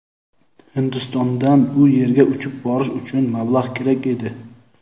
Hindistondan u yerga uchib borish uchun mablag‘ kerak edi.